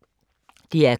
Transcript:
DR K